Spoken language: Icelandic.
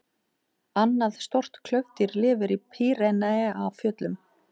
Annað stórt klaufdýr lifir í Pýreneafjöllum.